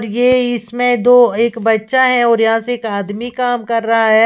ये इसमें दो एक बच्चा है और यहां से एक आदमी काम कर रहा है।